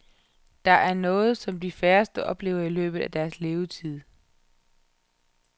Det er noget, som de færreste oplever i løbet af deres levetid.